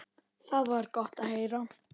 Það var gott að heyra.